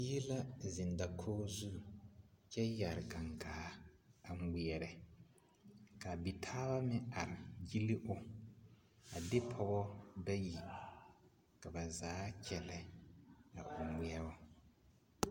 Bie la zeŋ dakogi zu kyɛ yɛre gaŋgaa a ŋmeɛrɛ ka a bitaaba meŋ are gili o a de pɔgɔ bayi ka ba zaa kyɛllɛ a o ŋmeɛbo.